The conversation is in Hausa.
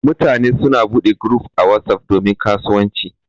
Mutane suna bude guruf a WhatsApp domin kasuwanci.